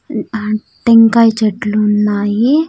మ్మ్ ఆ టెంకాయ చెట్లు ఉన్నాయి.